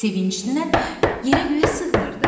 Sevincindən yerə-göyə sığmırdı.